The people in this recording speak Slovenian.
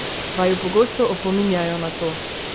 Vaju pogosto opominjajo na to?